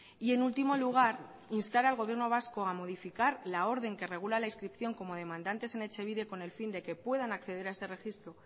y en último lugar instar al gobierno vasco a modificar la orden que regula la inscripción como demandantes en etxebide con el fin de que puedan acceder a este registro